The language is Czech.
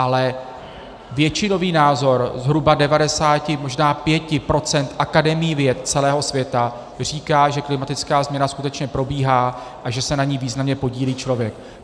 Ale většinový názor zhruba 90 možná 95 % akademií věd celého světa říká, že klimatická změna skutečně probíhá a že se na ní významně podílí člověk.